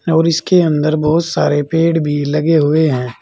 और इसके अंदर बहोत सारे पेड़ भी लगे हुए हैं।